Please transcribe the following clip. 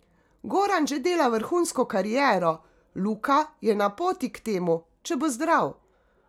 Goran že dela vrhunsko kariero, Luka je na poti k temu, če bo zdrav.